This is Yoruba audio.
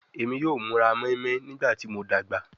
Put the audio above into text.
Emi yoo mura moinmoin nigbati mo dagba